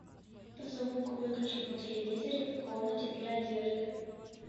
звук выключить на телевизоре в комнате для одежды